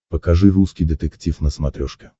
покажи русский детектив на смотрешке